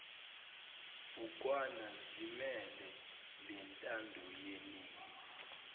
bhukwana zimele lentandoyeningi